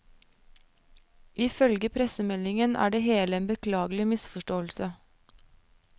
Ifølge pressemeldingen er det hele en beklagelig misforståelse.